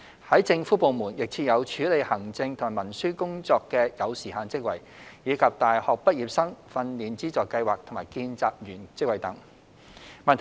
在政府部門亦設有處理行政和文書工作的有時限職位，以及大學畢業生訓練資助計劃及見習員職位等。